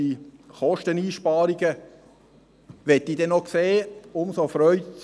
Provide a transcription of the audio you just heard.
Die Kosteneinsparungen möchte ich dann noch sehen.